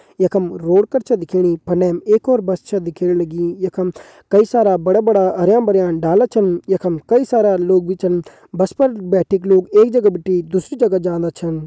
यखम रोड कर छ दिखेणी फनह म एक और बस छ दिखेण लगीं यखम कई सारा बड़ा बड़ा हरयां भरयां डाला छन यखम कई सारा लोग भी छन बस पर बैठिक लोग एक जगह बिटि दूसरी जगह जांदा छन।